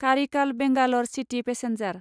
Karaikal Bangalore city passenger